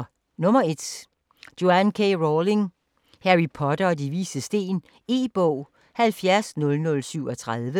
1. Rowling, Joanne K.: Harry Potter og De Vises Sten E-bog 700037